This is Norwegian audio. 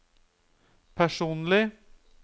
personlig